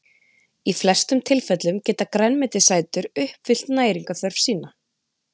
í flestum tilfellum geta grænmetisætur uppfyllt næringarþörf sína